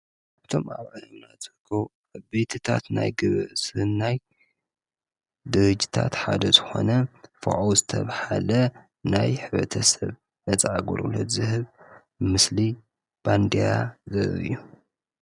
እቶም ኣብዕንሙና ዝክ ኣብትታት ናይ ግበእ ስህን ናይ ድርጅታት ሓደ ዝኾነ ፍዖ ዝተብሃለ ናይ ሕበተ ሰብ ነፃ ጐርለት ዝህብ ምስሊ ባንድያ ዘ እዩ።